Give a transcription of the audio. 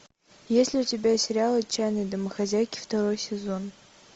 есть ли у тебя сериал отчаянные домохозяйки второй сезон